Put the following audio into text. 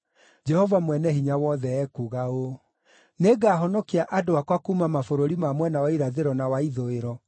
Jehova Mwene-Hinya-Wothe ekuuga ũũ: “Nĩngahonokia andũ akwa kuuma mabũrũri ma mwena wa irathĩro na wa ithũĩro.